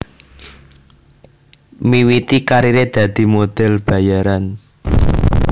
Miwiti kariré dadi model bayaran